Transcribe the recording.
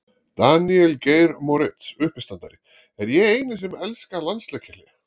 Daníel Geir Moritz uppistandari: Er ég eini sem elska landsleikjahlé?